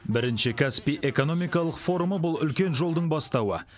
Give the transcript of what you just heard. бірінші каспий экономикалық форумы бұл үлкен жолдың бастауы